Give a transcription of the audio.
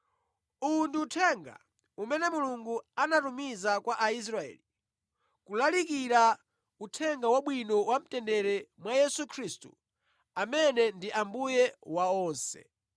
Uwu ndi uthenga umene Mulungu anatumiza kwa Aisraeli, kulalikira Uthenga Wabwino wamtendere mwa Yesu Khristu amene ndi Ambuye wa onse.